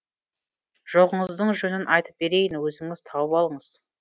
жоғыңыздың жөнін айтып берейін өзіңіз тауып алыңыз